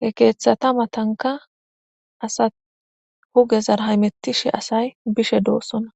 he keeththata matanka asa huge zar haymettishi asay bishe doossona.